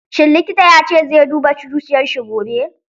Shin likitan ya ce zai duba zuciyar shi gobe?